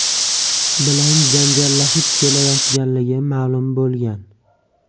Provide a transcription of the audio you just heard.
bilan janjallashib kelayotganligi ma’lum bo‘lgan.